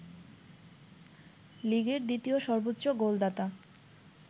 লিগের দ্বিতীয় সর্বোচ্চ গোলদাতা